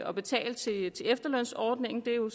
at betale til efterlønsordningen det er jo